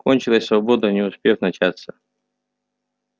кончилась свобода не успев начаться